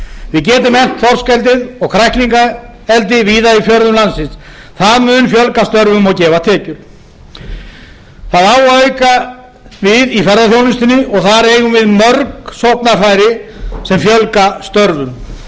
við getum eflt þorskeldið og kræklingaeldi víða í fjörðum landsins það mun fjölga störfum og gefa tekjur það á að auka við í ferðaþjónustunni og þar eigum við mörg sóknarfæri sem fjölga störfum